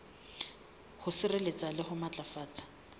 ho sireletsa le ho matlafatsa